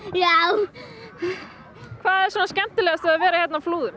já hvað er svona skemmtilegast við að vera hérna á Flúðum